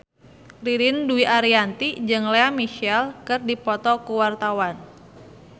Ririn Dwi Ariyanti jeung Lea Michele keur dipoto ku wartawan